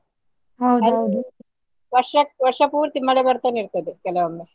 , ವರ್ಷಕ್ ವರ್ಷ ಪೂರ್ತಿ ಮಳೆ ಬರ್ತನೆ ಇರ್ತದೆ ಕೆಲವೊಮ್ಮೆ.